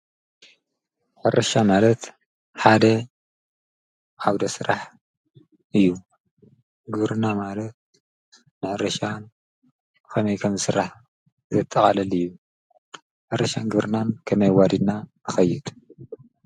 ሕርሻ ማለት ሓደ ዓውደ ሥራሕ እዩ ግርና ማለት ንሕርሻን ኸሜይ ከምሥራሕ ዘተዓለል እዩ ሕርሻን ግብርናን ከመይ ዋዲና ንኸይድ?